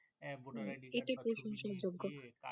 হাঁ voter ID ইটা প্রশংসার যোগ্য